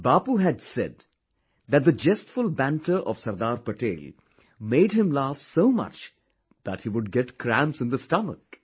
Bapu had said that the jestful banter of Sardar Patel made him laugh so much that he would get cramps in the stomach